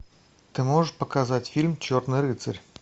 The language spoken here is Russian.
ты можешь показать фильм черный рыцарь